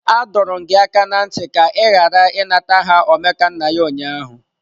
Adọọrọ m gị aka na ntị ka ị ghara ịnata aha Omekannaya ụnyaahụ!